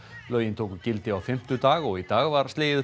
lögin tóku gildi á fimmtudag og í dag var slegið upp